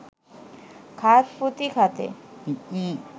ঘাত-প্রতিঘাতে